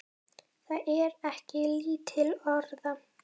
Það er ekki lítil orða!